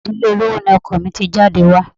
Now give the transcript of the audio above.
Ìdílé olówó ni ọkọ mi ti jáde wá.